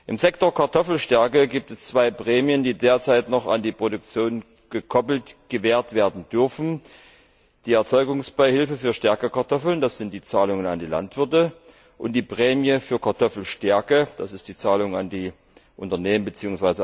Im Sektor Kartoffelstärke gibt es zwei Prämien, die derzeit noch an die Produktion gekoppelt gewährt werden dürfen, die Erzeugungsbeihilfe für Stärkekartoffeln das sind die Zahlungen an die Landwirte und die Prämie für Kartoffelstärke das sind die Zahlungen an die Unternehmen bzw.